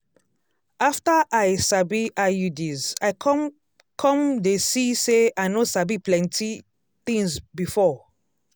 after i sabi iuds i come come dey see say i no sabi plenty tins before.